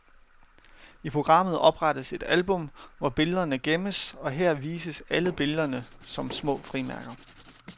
I programmet oprettes et album, hvor billederne gemmes og her vises alle billederne som små frimærker.